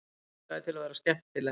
Langaði til að vera skemmtileg.